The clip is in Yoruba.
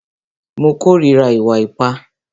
Mo kòrira ìwà ipá.